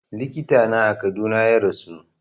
Likita na a Kaduna ya rasu